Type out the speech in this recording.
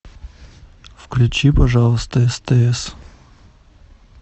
включи пожалуйста стс